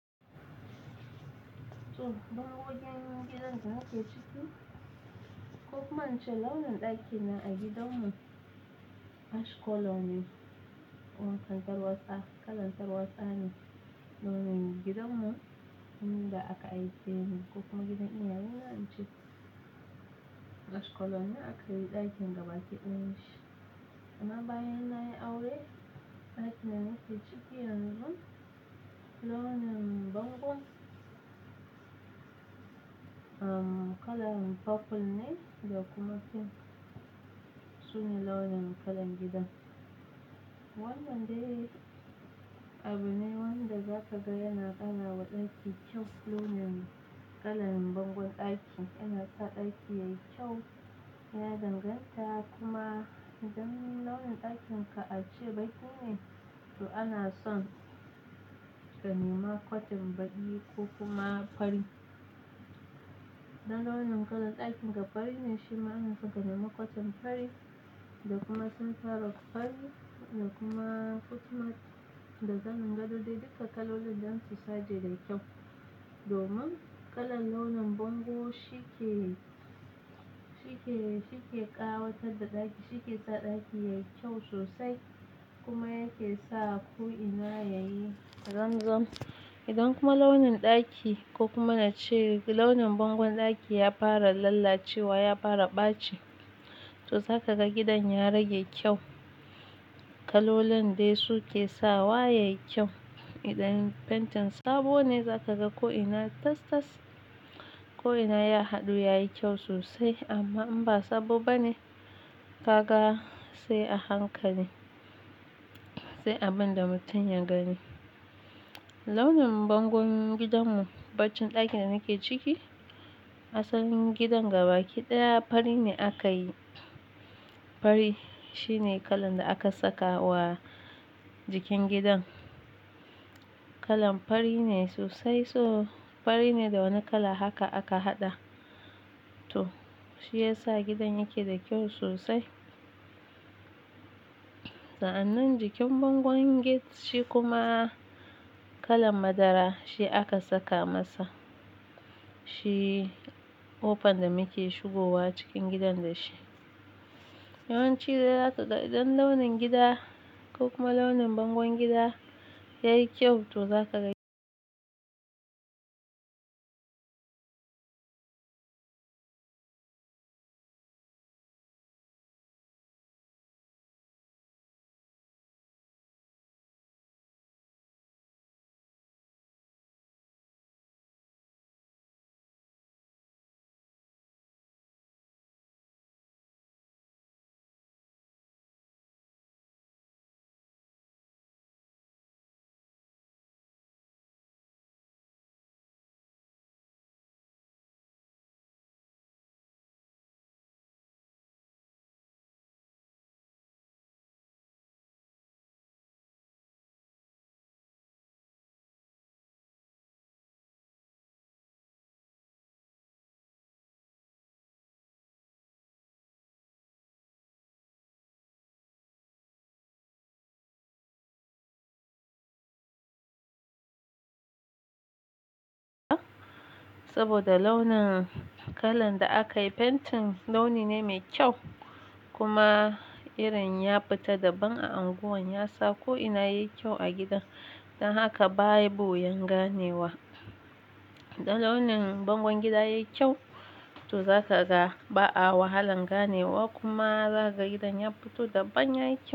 To, domin wajen gidan da muke ciki, ko kuma in ce launin ɗakin nan a gidanmu ash color ne wannan kalar taewatsa, kalar tarwatsa ne launin gidanmu. Wannan da aka ajiye ne ko kuma gidan iyayena in ce ash color ne aka yi ɗakin gaba kiɗo shi. Amma bayan na yi aure, ɗakin da muke ciki yanzu launin bangon, um, kalan purple ne da kuma pink. Su ne launin kalan gidan. Wannan dai abu ne wanda za ka ga yana ƙara wa ɗaki kyau. Launin kalan bangon ɗaki yana sa ɗaki yayi kyau, yana danganta kuma idan launin ɗakin ka a ce baƙi ne, to ana son ka nema kwatin baƙi ko kuma fari. Idan launin kalan ɗakin ka fari ne, shi ma ana son ka nema kwatin fari da kuma sun fara kwari da kuma footmat da kalan gadon dai duka kalolin don su saje da kyau. Domin kalan launin bango shi ke, shi ke, shi ke ƙawatar da ɗaki, shi ke sa ɗaki yayi kyau sosai kuma yake sa ko'ina yayi zamzam. Idan kuma launin ɗaki ko kuma na ce launin bangon ɗaki ya fara lalacewa, ya fara ɓaci, to za ka ga gidan ya rage kyau. Kalolin dai su ke sa waye kyau. Idan fentin sabo ne za ka ga ko'ina tas-tas, ko'ina ya haɗu, yayi kyau sosai. Amma in ba sabo ba ne, za ka ga sai a hankali, sai abin da mutum ya gani. Launin bangon gidanmu, bacin ɗakin da muke ciki, asalin gidan gaba kiɗaya fari ne aka yi. Fari shine kalan da aka saka wa jikin gidan. Kalan fari ne sosai, so fari ne da wani kala haka aka haɗa. To, shi ya sa gidan yake da kyau sosai. Sa'annan jikin bangon gate shi kuma kalan madara shi aka saka masa. Shi kofan da muke shigowa cikin gidan da shi. Yawanci dai za kaga, idan launin gida ko kuma launin bangon gidan yayi kyau to za ka ga saboda launin kalan da aka yi fentin launi ne mai kyau kuma irin ya fita daɓan a unguwan ya sa ko'ina yayi kyau a gidan. Dan haka bayi buyan ganewa. Idan launin bangon gida yayi kyau, to za ka ga ba a wahalan ganewa kuma za ka ga gidan ya fito daɓan yayi kyau.